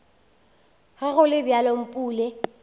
ge go le bjalo mpule